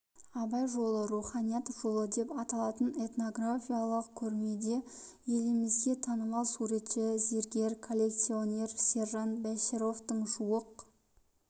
абай жолы руханият жолы деп аталатын этнографиялық көрмеде елімізге танымал суретші зергер коллекционер сержан бәшіровтың жуық